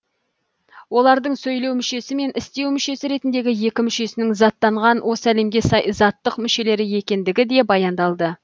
олардың сөйлеу мүшесі мен істеу мүшесі ретіндегі екі мүшесінің заттанған осы әлемге сай заттық мүшелер екендігі де баяндалды